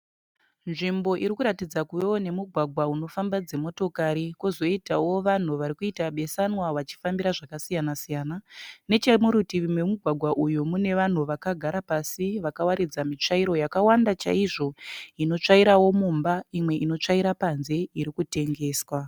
Nzvimbo iri kuratidza kuvewo nemugwagwa unofamba dzimotokari, kozoitawo vanhu varikuita besanwa vachi fambira zvakasiyana siyana. Neche murutivi memugwagwa uyu, mune vanhu vakagara pasi vakawaridza mitsvairo yakawanda chaizvo inotsvairawo mumba imwe inotsvaira panze irikutengeswa.